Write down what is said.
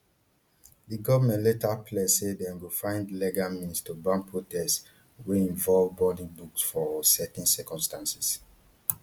di goment later pledge say dem go find legal means to ban protests wey involve burning books for certain circumstances